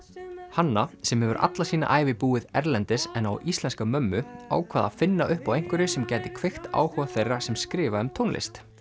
hanna sem hefur alla sína ævi búið erlendis en á íslenska mömmu ákvað að finna upp á einhverju sem gæti kveikt áhuga þeirra sem skrifa um tónlist